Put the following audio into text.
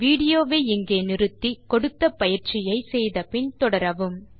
விடியோவை இங்கே இடைநிறுத்தி கொடுத்த பயிற்சியை செய்தபின் தொடரவும்